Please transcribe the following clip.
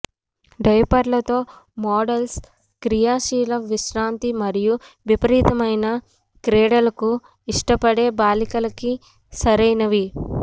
డయూపర్లతో models క్రియాశీల విశ్రాంతి మరియు విపరీతమైన క్రీడలకు ఇష్టపడే బాలికలకి సరైనవి